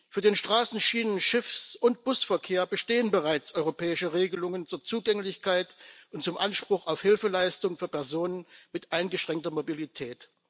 Für den Straßen Schienen Schiffs und Busverkehr bestehen bereits europäische Regelungen zur Zugänglichkeit und zum Anspruch auf Hilfeleistung für Personen mit eingeschränkter Mobilität.